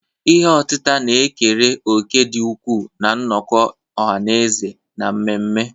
Ihe otita na-ekere òkè dị ukwuu na nnọkọ ọha na eze na mmemme.